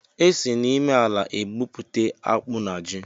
E si n'ime ala egbụpụta akpu na ji